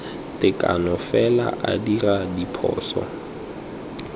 tekano fela a dira diphoso